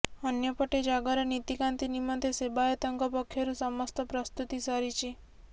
ଅନ୍ୟପଟେ ଜାଗର ନୀତିକାନ୍ତି ନିମନ୍ତେ ସେବାୟତଙ୍କ ପକ୍ଷରୁ ସମସ୍ତ ପ୍ରସ୍ତୁତି ସରିଛି